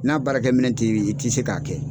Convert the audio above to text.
N'a baara kɛ minɛ ti i ti se k'a kɛ.